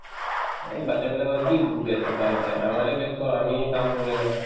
অ, batches বিলাকৰ কি উব ব্যস্ততা আছে আমাৰহে ব্যস্ত আমিহে কাম কৰো এনেকে